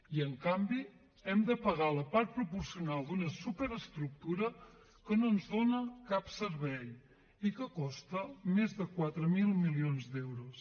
i en canvi hem de pagar la part proporcional d’una superestructura que no ens dona cap servei i que costa més de quatre mil milions d’euros